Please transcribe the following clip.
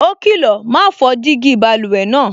Ó kìlọ̀, "ma fọ́ jígí báluwẹ̀ náà"